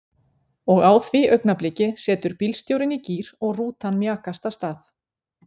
Og á því augnabliki setur bílstjórinn í gír og rútan mjakast af stað.